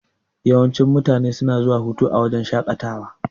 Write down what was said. Yawancin mutane suna zuwa hutawa a wajan shaƙatawa.